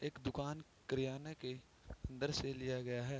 एक दुकान किरयाना के अंदर से लिया गया है।